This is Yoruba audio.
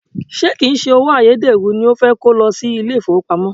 Ṣé kìí se owó ayédèrú ni o fẹ́ kó lọ sí ilé ìfowópamọ́?